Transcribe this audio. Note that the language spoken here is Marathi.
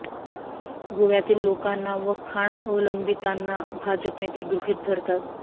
गोव्यातील लोकांना व खाण अवलंबितांना भाजप नेते गृहित धरतात